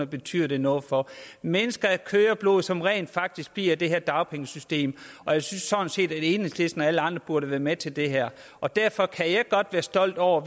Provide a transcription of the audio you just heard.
betyder det noget for det mennesker af kød og blod som rent faktisk bliver i det her dagpengesystem og jeg synes sådan set at enhedslisten og alle andre burde være med til det her og derfor kan jeg godt være stolt over